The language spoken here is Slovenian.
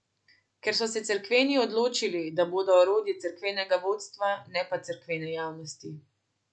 Ker so se cerkveni odločili, da bodo orodje cerkvenega vodstva, ne pa cerkvene javnosti.